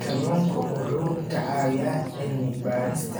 Kalluunku wuxuu ka caawiyaa cilmi-baarista